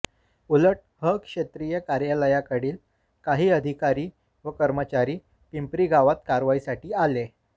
उलट ह क्षेत्रीय कार्यालयाकडील काही अधिकारी व कर्मचारी पिंपरीगावात कारवाईसाठी आले